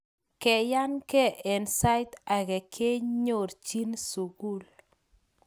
keyanke en sait ake kenyorchin sukul